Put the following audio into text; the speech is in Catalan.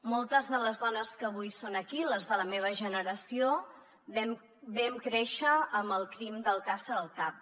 moltes de les dones que avui són aquí les de la meva generació vam créixer amb el crim d’alcàsser al cap